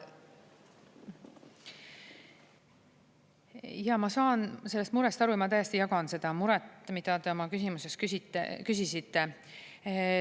Jaa, ma saan sellest murest aru ja ma täiesti jagan seda muret, mida te oma küsimuses küsisite.